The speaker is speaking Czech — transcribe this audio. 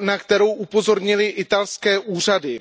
na kterou upozornily italské úřady.